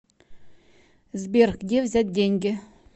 сбер где взять деньги